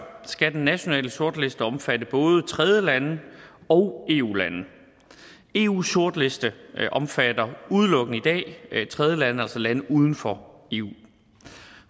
skal den nationale sortliste omfatte både tredjelande og eu lande eus sortliste omfatter i udelukkende tredjelande altså lande uden for eu